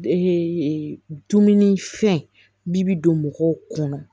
dumuni fɛn bi bi don mɔgɔw kɔnɔ